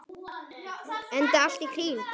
Enda allt í kring.